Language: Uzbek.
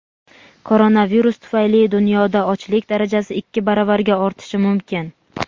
Koronavirus tufayli dunyoda ochlik darajasi ikki baravarga ortishi mumkin.